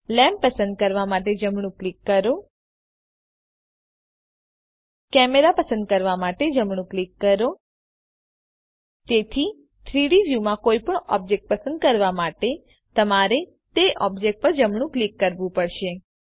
lamp પસંદ કરવા માટે જમણું ક્લિક કરો કેમેરા પસંદ કરવા માટે જમણું ક્લિક કરો તેથી 3ડી વ્યુમાં કોઈપણ ઑબ્જેક્ટ પસંદ કરવા માટે તમારે તે ઓબ્જેક્ટ પર જમણું ક્લિક કરવું પડશે